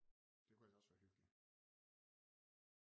Det kunne ellers også være hyggelig